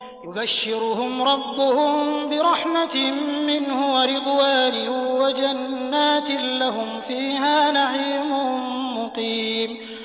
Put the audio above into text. يُبَشِّرُهُمْ رَبُّهُم بِرَحْمَةٍ مِّنْهُ وَرِضْوَانٍ وَجَنَّاتٍ لَّهُمْ فِيهَا نَعِيمٌ مُّقِيمٌ